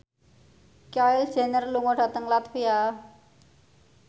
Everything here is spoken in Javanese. Kylie Jenner lunga dhateng latvia